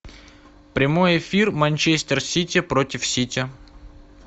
прямой эфир манчестер сити против сити